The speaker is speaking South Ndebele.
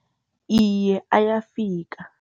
Iye, ayafika.